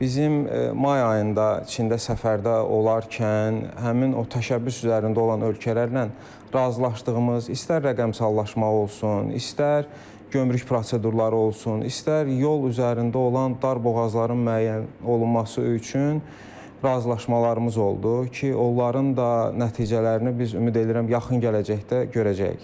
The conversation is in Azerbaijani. Bizim may ayında Çində səfərdə olarkən, həmin o təşəbbüs üzərində olan ölkələrlə razılaşdığımız, istər rəqəmsallaşma olsun, istər gömrük prosedurları olsun, istər yol üzərində olan dar boğazların müəyyən olunması üçün razılaşmalarımız oldu ki, onların da nəticələrini biz ümid edirəm yaxın gələcəkdə görəcəyik.